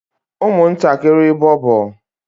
umuntakiri bobo